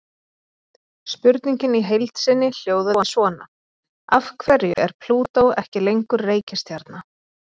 Spurningin í heild sinni hljóðaði svona: Af hverju er Plútó ekki lengur reikistjarna?